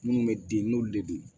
Minnu bɛ den n'olu de ye